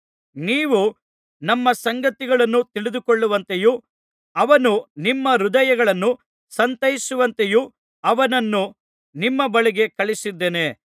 ನೀವು ನಮ್ಮ ಸಂಗತಿಗಳನ್ನು ತಿಳಿದುಕೊಳ್ಳುವಂತೆಯೂ ಅವನು ನಿಮ್ಮ ಹೃದಯಗಳನ್ನು ಸಂತೈಸುವಂತೆಯೂ ಅವನನ್ನು ನಿಮ್ಮ ಬಳಿಗೆ ಕಳುಹಿಸಿದ್ದೇನೆ